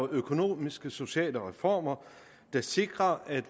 økonomiske sociale reformer der sikrer at